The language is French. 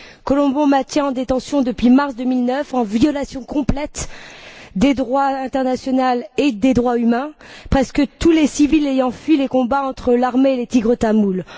Colombo maintient en détention depuis mars 2009, en violation complète du droit international et des droits humains, presque tous les civils ayant fui les combats entre l'armée et les Tigres tamouls.